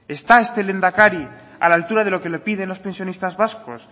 está este lehendakari a la altura de lo que le piden las pensionistas vascas